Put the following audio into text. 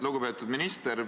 Lugupeetud minister!